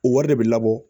O wari de bɛ labɔ